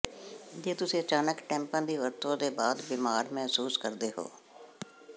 ਜੇ ਤੁਸੀਂ ਅਚਾਨਕ ਟੈਂਪਾਂ ਦੀ ਵਰਤੋਂ ਤੋਂ ਬਾਅਦ ਬਿਮਾਰ ਮਹਿਸੂਸ ਕਰਦੇ ਹੋ